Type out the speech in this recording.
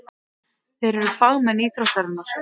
Þeir eru fagmenn íþróttarinnar.